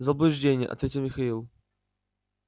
заблуждение ответил михаил